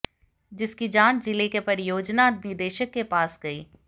जिसकी जांच जिले के परियोजना निदेशक के पास गई